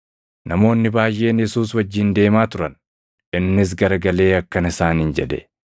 Namoonni baayʼeen Yesuus wajjin deemaa turan; innis garagalee akkana isaaniin jedhe;